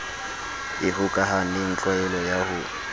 e hokahaneng tlwaelo ya ho